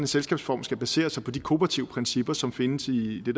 selskabsform skal basere sig på de kooperative principper som findes i det